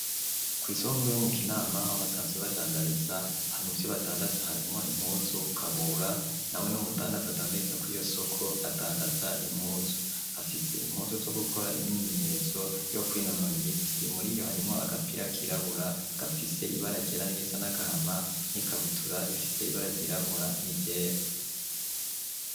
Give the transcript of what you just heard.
Kw'isonguro yo mu Kinama aho basanzwe badandariza hama muvyo badandaza harimwo impuzu Kabura nawe n'umudandaza adandariza kw'iyo soko adandaza impuzu, afise impuzu zo gukora imyimenyerezo yo kwinonora imitsi muri iyo harimwo agapira kirabura gafise ibara ryera n'irisa n'agahama n'ikabutura ifise ibara ryirabura n'iryera.